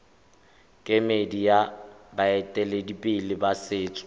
kemedi ya baeteledipele ba setso